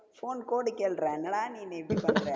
phone code கேளுடா, என்னடா நீ என்ன இப்படி பண்ற?